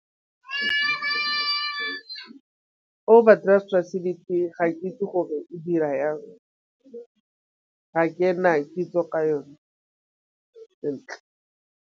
Overdraft facility ga ke itse gore e dira yang ga ke na kitso ka yone sentle.